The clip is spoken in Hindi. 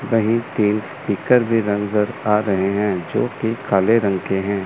कहीं तेज स्पीकर भी नज़र आ रहे हैं जो की काले रंग के हैं।